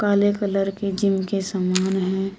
काले कलर की जिम के समान है।